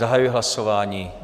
Zahajuji hlasování.